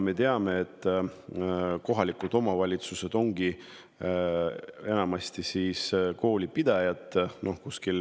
Me teame, et enamasti ongi kohalikud omavalitsused koolipidajad.